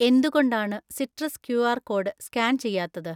എന്തുകൊണ്ടാണ് citrus Q R code scan ചെയ്യാത്തത്?